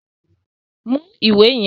Mú ìwé yẹn!